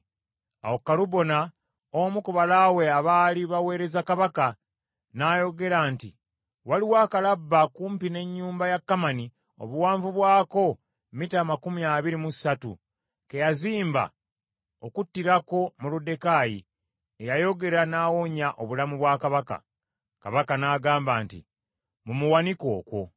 Awo Kalubona, omu ku balaawe abaali baweereza Kabaka n’ayogera nti, “Waliwo akalabba kumpi ne nnyumba ya Kamani obuwanvu bwako mita amakumi abiri mu ssatu ke yazimba okuttirako Moluddekaayi eyayogera n’awonya obulamu bwa Kabaka.” Kabaka n’agamba nti, “Mumuwanike okwo.”